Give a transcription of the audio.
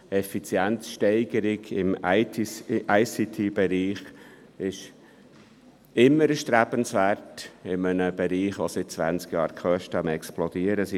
Effizienzsteigerung im ICT-Bereich ist immer erstrebenswert in einem Bereich, in dem die Kosten seit zwanzig Jahren am Explodieren sind.